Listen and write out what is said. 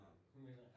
Mhm